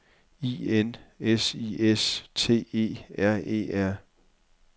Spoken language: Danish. I N S I S T E R E R